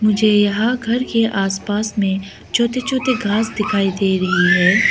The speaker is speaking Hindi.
मुझे यहां घर के आस पास में छोटे छोटे घास दिखाई दे रही है।